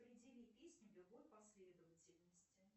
определи песню в любой последовательности